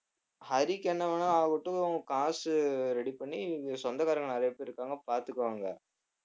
ஹரிக்கு என்ன வேணா ஆகட்டும் காசு ready பண்ணி சொந்தக்காரங்க நிறைய பேர் இருக்காங்க பார்த்துக்குவாங்க